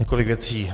Několik věcí.